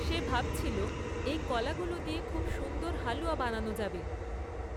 সে ভাবছিল, এই কলাগুলো দিয়ে খুব সুন্দর হালুয়া বানানো যাবে।